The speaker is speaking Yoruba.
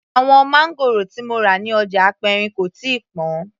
Àwọn máńgòrò tí mo rà ní ọjà aperin kò tíì pọn